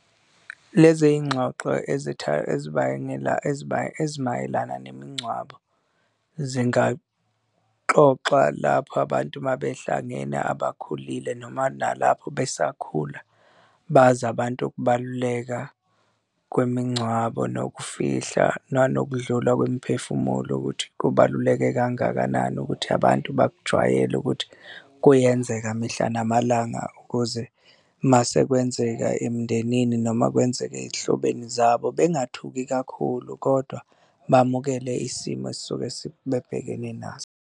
Lezi iy'ngxoxo ezibangela ezimayelana nemingcwabo zingaxoxa lapho abantu uma behlangene abakhulile noma nalapho besakhula, bazi abantu ukubaluleka kwemingcwabo nokufihla nanokudlula kwemiphefumulo ukuthi kubaluleke kangakanani ukuthi abantu bakujwayele ukuthi kuyenzeka mihla namalanga ukuze uma sekwenzeka emndenini noma kwenzeka ey'hlobene zabo bengathuki kakhulu kodwa bamukele isimo esisuke babhekene naso.